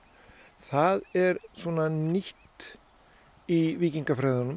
það er nýtt í